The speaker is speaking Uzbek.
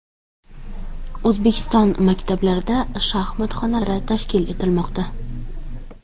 O‘zbekiston maktablarida shaxmat xonalari tashkil etilmoqda.